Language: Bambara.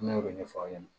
Ne y'o de ɲɛfɔ aw ɲɛna